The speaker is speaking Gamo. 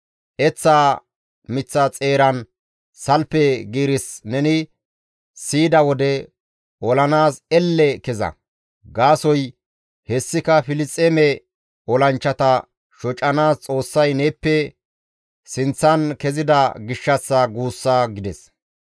Eththaa miththaza xeeran salfe giiris neni siyida wode olanaas elle keza; gaasoykka hessi Filisxeeme olanchchata shocanaas Xoossay neeppe sinththan kezida gishshassa guussa» gides.